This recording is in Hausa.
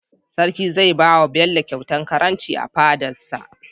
sarki zai bawa bello kyauta karamci a fadarsa